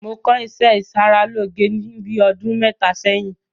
Mo kọ́ ìṣẹ́ ìṣaralóge ní bíi ọdún mẹ́ta sẹ́yìn.